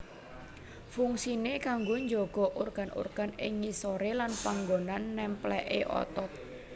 Fungsine kanggo jaga organ organ ing ngisore lan panggonan nempléké otot